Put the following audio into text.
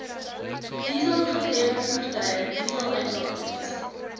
dieselgedrewe voertuie dieseluitlatings